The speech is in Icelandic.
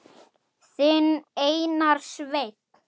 Þinn Einar Sveinn.